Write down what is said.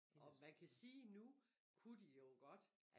Og man kan sige nu kunne de jo godt